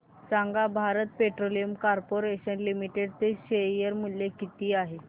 सांगा Bharat Petroleum Corporation Limited चे share मूल्य किती आहे